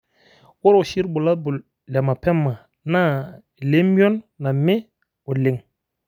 ore oshi irbulabol le mapema naa ile mion name oleng.